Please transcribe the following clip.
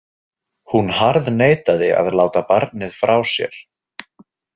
Hún harðneitaði að láta barnið frá sér.